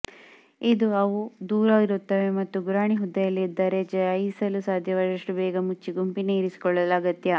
ಇದು ಅವು ದೂರ ಇರುತ್ತವೆ ಮತ್ತು ಗುರಾಣಿ ಹುದ್ದೆಯಲ್ಲಿದ್ದಾರೆ ಜಯಿಸಲು ಸಾಧ್ಯವಾದಷ್ಟು ಬೇಗ ಮುಚ್ಚಿ ಗುಂಪಿನ ಇರಿಸಿಕೊಳ್ಳಲು ಅಗತ್ಯ